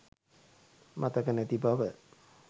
මතක නැති බව